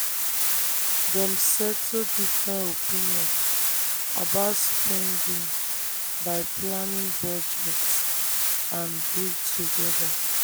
dem settle different opinion about spending by planning budget and gree together.